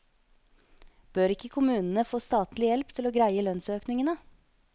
Bør ikke kommunene få statlig hjelp til å greie lønnsøkningene?